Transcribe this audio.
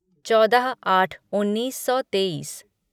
चौदह आठ उन्नीस सौ तेईस